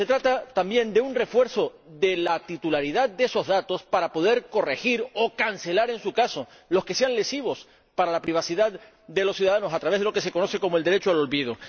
Pero se trata también de un refuerzo de la titularidad de esos datos para poder corregir o cancelar, en su caso, los que sean lesivos para la privacidad de los ciudadanos, a través de lo que se conoce como el derecho al olvido.